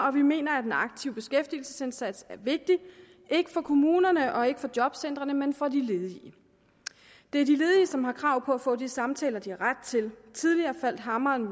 og vi mener at en aktiv beskæftigelsesindsats er vigtig ikke for kommunerne og ikke for jobcentrene men for de ledige det er de ledige som har krav på at få de samtaler de har ret til tidligere faldt hammeren i